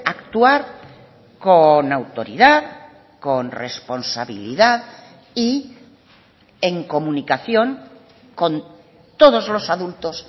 actuar con autoridad con responsabilidad y en comunicación con todos los adultos